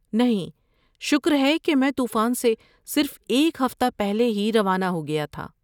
نہیں، شکر ہے کہ میں طوفان سے صرف ایک ہفتہ پہلے ہی روانہ ہو گیا تھا۔